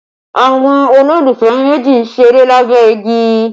Àwọn olólùfẹ́ méjì ń ṣeré lábẹ́ igi